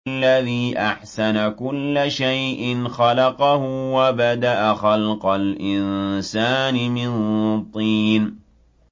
الَّذِي أَحْسَنَ كُلَّ شَيْءٍ خَلَقَهُ ۖ وَبَدَأَ خَلْقَ الْإِنسَانِ مِن طِينٍ